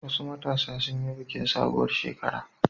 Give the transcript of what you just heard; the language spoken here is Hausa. Wasu matasa sun yi bikin sabuwar shekara.